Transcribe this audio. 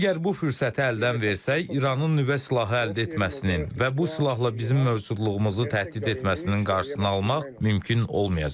Əgər bu fürsəti əldən versək, İranın nüvə silahı əldə etməsinin və bu silahla bizim mövcudluğumuzu təhdid etməsinin qarşısını almaq mümkün olmayacaq.